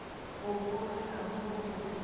go bogega mo o bego